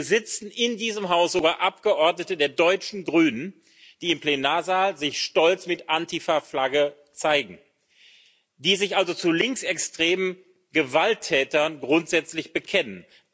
Hier sitzen in diesem Haus sogar Abgeordnete der deutschen Grünen, die sich im Plenarsaal stolz mit Antifa Flagge zeigen, die sich also zu linksextremen Gewalttätern grundsätzlich bekennen.